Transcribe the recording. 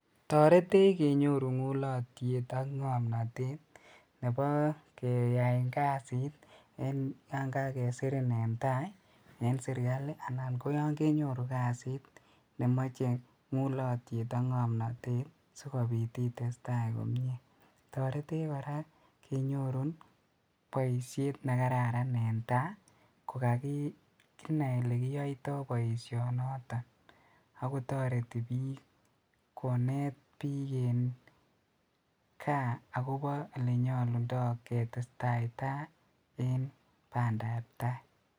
Toretech kenyorun nguliotyet ak ngomnotet nebo keyaen kasit yon kakesirin en tai en sirikali anan ko yon kenyoru kasit nemoche ngulotyet ak ngomnotet sikobit itestai komie .Toretech koraa inyoruu boishet nekararan en tai ko kakinai ole kiyoito boishoniton, ak kotoreti bik koneet bik en gaa akobo ole nyolundoo ketesaita en bandap tai.